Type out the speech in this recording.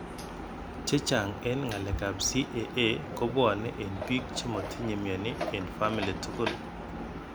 Chechang en ngalek ap CAA kopwane en pik chemotinye mioni en family tugul.